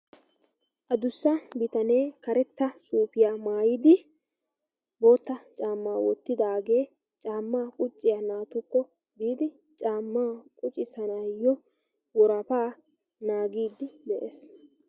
Adussa bitanee karetta suufiya maayidi bootta cammaa wottidaagee caammaa qucciya naatukko biidi caammaa qucissanaayyo worafaa naagiiddi de'es.